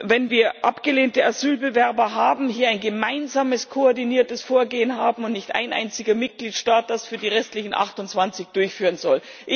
wenn wir abgelehnte Asylbewerber haben, hier ein gemeinsames koordiniertes Vorgehen hat und nicht ein einziger Mitgliedstaat das für die restlichen 28 durchführen soll.